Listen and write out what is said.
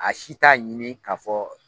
A si t'a ɲini k'a fɔ